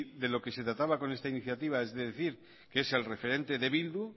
de lo que se trataba con esta iniciativa es decir que es el referente de bildu